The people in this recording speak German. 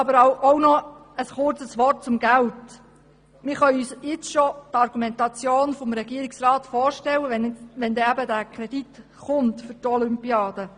Nun doch noch ein kurzes Wort zum Geld: Wir können uns bereits die Argumentation des Regierungsrats vorstellen, wenn dann der Kredit für die Olympiade kommt.